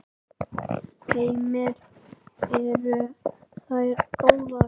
Heimir: Eru þær góðar?